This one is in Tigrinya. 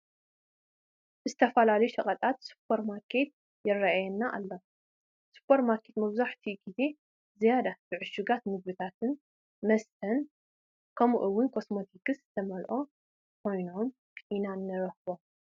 ብዝተፈላለዩ ሸቐጣት ዝተመልአ ሱፐር ማርኬት ይርአየና ኣሎ፡፡ ሱፐር ማርኬታት መብዛሕትኡ ግዜ ዝያዳ ብዕሹጋት ምግብታትን መስተትን ከምኡውን ኮስሞቲካትን ዝተመልኡ ኮይኖም ኢና ንረኽቦም፡፡